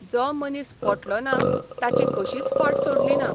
जो मनीस पटलो ना ताची कशीच फाट सोडली ना.